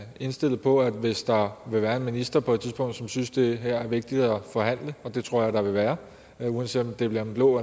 indstillet på at hvis der vil være en minister som på et tidspunkt synes at det her er vigtigt at forhandle og det tror jeg at der vil være uanset om det bliver en blå